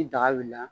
Ni daga wulila